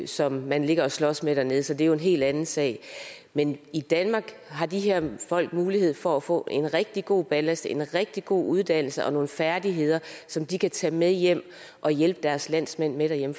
som man ligger og slås med dernede så det er jo en helt anden sag men i danmark har de her folk mulighed for at få en rigtig god ballast en rigtig god uddannelse og nogle færdigheder som de kan tage med hjem og hjælpe deres landsmænd med derhjemme